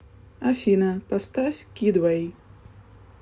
афина поставь кидвей